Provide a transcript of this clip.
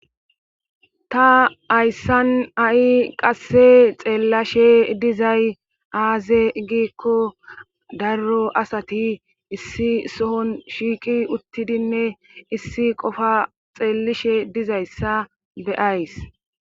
Ta hayssan ha'i qasse xeellashe dizay aaze giikko daro asati issi sohon shiiqi uttidinne issi qofa xeellishe dizayssa be'ays